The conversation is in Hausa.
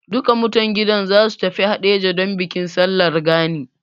Duka mutan gidan za su tafi Haɗeja don bikin Sallar Gani.